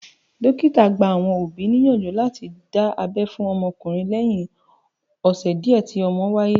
Dókítà gba àwọn òbí níyànjú láti dá abẹ́ fún ọmọkùnrin lẹ́yìn ọ̀sẹ̀ díẹ̀ tí ọmọ wáyé